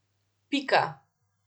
Pika.